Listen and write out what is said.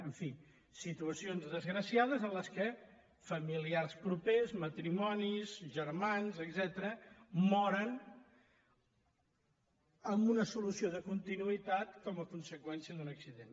en fi situacions desgraciades en què familiars propers matrimonis germans etcètera moren amb una solució de continuïtat com a conseqüència d’un accident